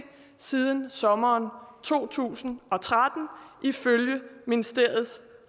siden sommeren to tusind og tretten ifølge ministeriets